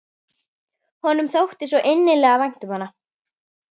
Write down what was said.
Honum þótti svo innilega vænt um hana.